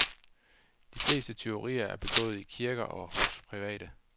De fleste tyverier er begået i kirker og hos private.